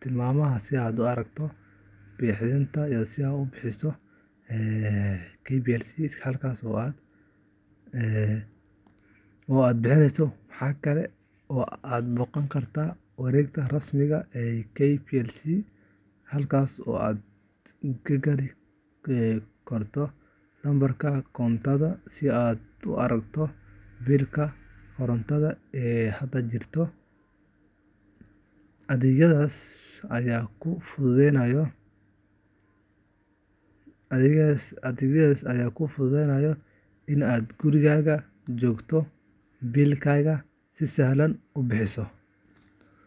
tilmaamaha si aad u aragto biilkaaga oo aad u bixiso. Waxa kale oo aad booqan kartaa mareegta rasmiga ah ee KPLC, halkaas oo aad ka gali karto lambarka koontadaada si aad u aragto biilka korontada ee hadda jira. Adeegyadaas ayaa kuu fududeynaya in aad gurigaaga joogto biilkaaga si sahlan uga bixiso.